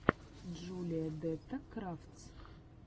джулия дэтта крафтс